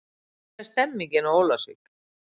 Hvernig er stemningin á Ólafsvík?